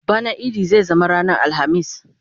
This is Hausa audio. bana idi zai zama ranar alhamis